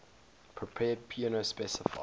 prepared piano specify